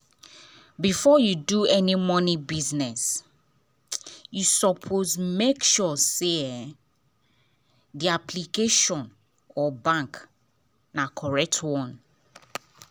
before you do any money business you suppose to make sure say the application or bank na correct one.